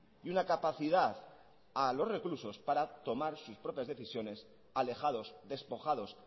y una capacidad a los reclusos para tomar sus propias decisiones alejados despojados